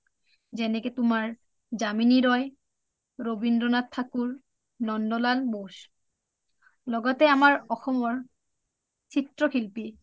যেনেকে তোমাৰ Jamini roy, Rabindra nath Thakur Nandalal bose লগতে আমাৰ অসমৰ চিএশিল্পী